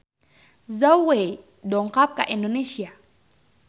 Zhao Wei dongkap ka Indonesia